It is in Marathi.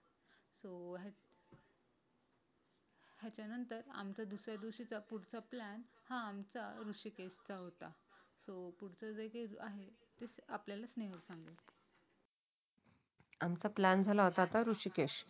याच्यानंतर आमच्या दुसऱ्या दिवशी पुढचा जर्नी स्टार्ट हा आमचा ऋषिकेश चा होता. सो पुढचं जे काय आहे ते आपल्याला न्यायला सांगितले आमचा प्लॅन झाला होता ऋषिकेश